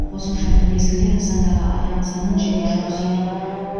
қосымша бір мезгілде нысандағы адам санын және жұмыс ету